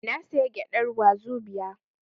Na saya gyadar wazobia